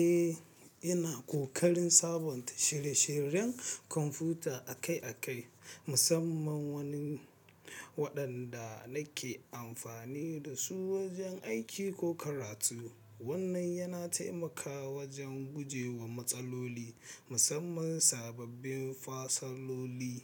Eh, yana ƙoƙarin sabunta shire-shiren kwamfuta akai-akai, musamman waɗanda nake amfani da su wajen aiki ko karatu. Wannan yana taimakawa wajen guje wa matsaloli, musamman sababbin fasaloli,